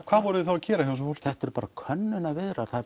hvað voruð þið þá að gera hjá þessu fólki þetta eru bara könnunarviðræður